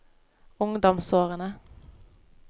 ungdomsårene